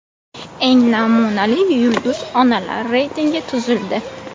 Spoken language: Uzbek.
Eng namunali yulduz onalar reytingi tuzildi.